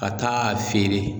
Ka taa a feere.